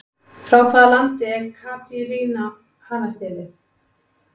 Frá hvaða landi er Caipirinha hanastélið?